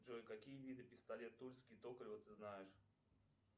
джой какие виды пистолет тульский токарева ты знаешь